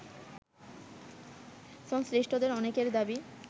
সংশ্লিষ্টদের অনেকের দাবি